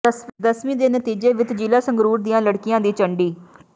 ਦਸਵੀਂ ਦੇ ਨਤੀਜੇ ਵਿਚ ਜ਼ਿਲ੍ਹਾ ਸੰਗਰੂਰ ਦੀਆਂ ਲੜਕੀਆਂ ਦੀ ਝੰਡੀ